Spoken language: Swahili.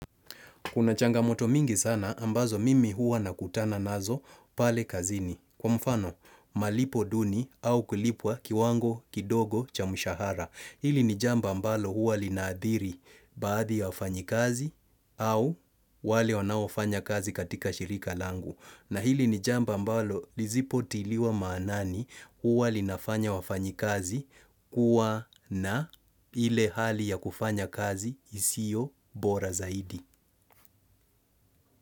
Kuna changamoto mingi sana ambazo mimi huwa nakutana nazo pale kazini. Kwa mfano, malipo duni au kulipwa kiwango, kidogo, cha mshahara. Hili ni jambo ambalo huwa linaathiri baadhi ya wafanyikazi au wale wanaofanya kazi katika shirika langu. Na hili ni jambo ambalo lizipotiliwa maanani huwa linafanya wafanyikazi kuwa na ile hali ya kufanya kazi isio bora zaidi.